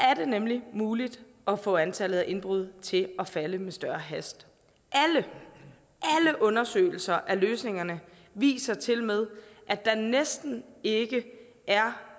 er det nemlig muligt at få antallet af indbrud til at falde med større hast alle undersøgelser af løsningerne viser tilmed at der næsten ikke er